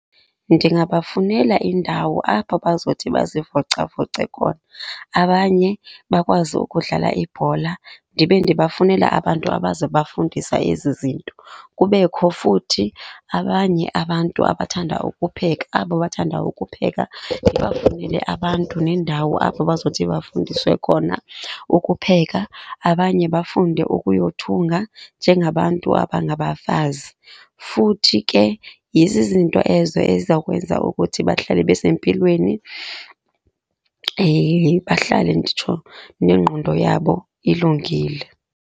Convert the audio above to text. Ndingaba funela indawo apho bazothi bazivocavoce khona abanye bakwazi ukudlala ibhola, ndibe ndibafunele abantu abazobafundisa ezi zinto. Kubekho futhi abanye abantu abathanda ukupheka, abo bathanda ukupheka ndibafunele abantu neendawo apho bazothi bafundiswe khona ukupheka. Abanye bafunde ukuyothunga njengabantu abangabafazi. Futhi ke yezi zinto ezo ezizawukwenza ukuthi bahlale besempilweni, bahlale nditsho nengqondo yabo ilungile.